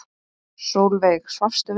Sólveig: Svafstu vel?